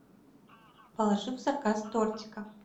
положи в заказ тортика